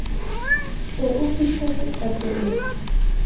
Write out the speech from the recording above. se o fihletse qeto eo